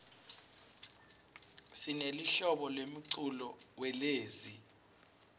sineluhlobo lemculo welezi